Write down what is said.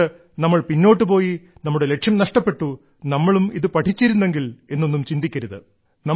അതുകൊണ്ട് നമ്മൾ പിന്നോട്ട് പോയി നമ്മുടെ ലക്ഷ്യം നഷ്ടപ്പെട്ടു നമ്മളും ഇത് പഠിച്ചിരുന്നെങ്കിൽ എന്നൊന്നും ചിന്തിക്കരുത്